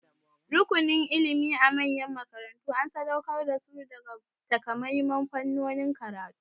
Rukunin ilimi a manyan makarantu an sadauƙar da su ga takamaiman fannonin karatu.